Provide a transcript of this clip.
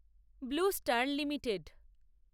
blue Star limited